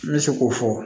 N bɛ se k'o fɔ